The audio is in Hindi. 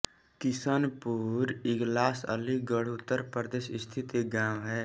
किशनपुर इगलास अलीगढ़ उत्तर प्रदेश स्थित एक गाँव है